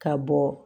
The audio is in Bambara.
Ka bɔ